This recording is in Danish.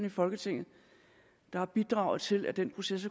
i folketinget der har bidraget til at den proces